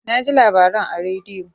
Naji labaran a radio.